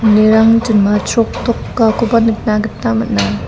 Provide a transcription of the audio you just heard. jinma chroktokakoba nikna gita man·a.